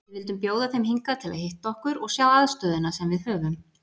Við vildum bjóða þeim hingað til að hitta okkur og sjá aðstöðuna sem við höfum.